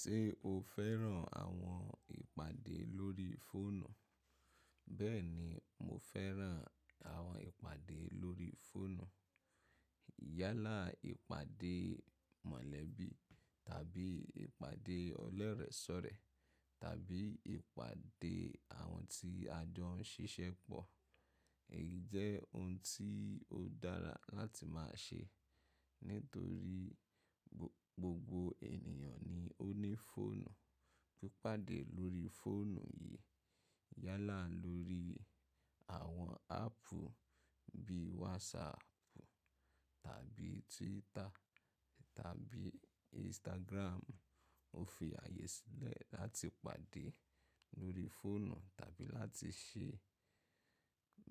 Ṣé o fẹ́ràn àwọn ìpàdé lórí fóònù? Bẹ́ẹ̀ni, mo fẹ́ràn àwọn ìpàdé lórí fóònù. Yálà ìpàdé mọ̀lẹ́bí tàbí ìpàdé ọlẹ́rẹ̀sọ̀rẹ̀ tàbí ìpàdé àwọn tí a jọ ń ṣiṣẹ́ pọ̀. Èyí jẹ́ ohun tí ó dára láti máa ṣe nítorí gbogbo ènìyàn ni ó ní fóònù. Pípàdé lórí fóònù yìí yálà lórí àwọn áàpù bí WhatsApp tàbí Twitter tàbí Instagram. Ó fi ààyè sílẹ̀ láti pàdé lórí fóònù tàbí láti ṣe